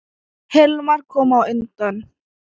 Hilmar kom á undan.